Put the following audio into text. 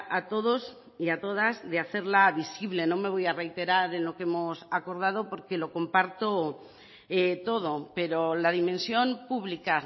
a todos y a todas de hacerla visible no me voy a reiterar en lo que hemos acordado porque lo comparto todo pero la dimensión pública